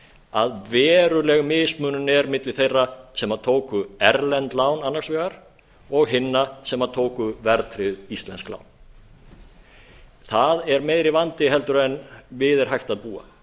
að veruleg mismunun er milli þeirra sem tóku erlend lán annars vegar og hinna sem tóku verðtryggð íslensk lán það er meiri vandi en við er hægt að búa